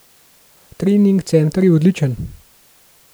Trening center je odličen.